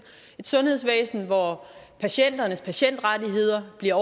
et sundhedsvæsen hvor patienternes patientrettigheder bliver